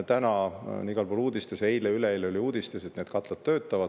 Täna on igal pool uudistes, ka eile-üleeile oli uudistes, et need katlad töötavad.